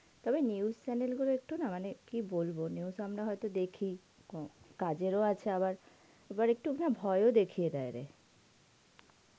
তবে news chanel গুলো একটু না মানে কি বলবো news হইতো আমরা দেখি কাজ এর ও আছে আবার একটু হা ভয় ও দেখিয়ে দেয় রে